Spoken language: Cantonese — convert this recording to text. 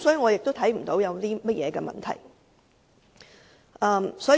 因此，我看不到有任何問題。